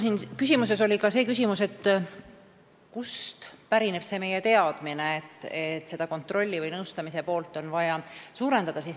Selles oli võib-olla ka see küsimus, kust pärineb meie teadmine, et seda kontrolli või nõustamise poolt on vaja suurendada.